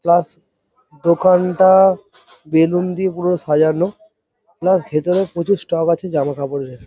Plus দোকানটা আ balloon দিয়ে পুরো সাজানো প্লাস ভেতরে প্রচুর স্টক আছে জামা কাপড়ের।